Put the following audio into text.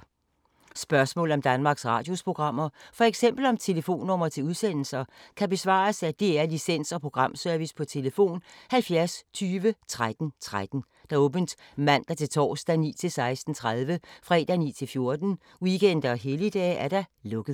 Spørgsmål om Danmarks Radios programmer, f.eks. om telefonnumre til udsendelser, kan besvares af DR Licens- og Programservice: tlf. 70 20 13 13, åbent mandag-torsdag 9.00-16.30, fredag 9.00-14.00, weekender og helligdage: lukket.